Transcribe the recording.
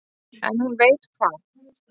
En hún veit hvað